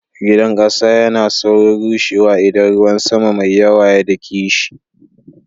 Gidan kasa yana saurin rushewa idan ruwan sama mai yawa ya dake shi.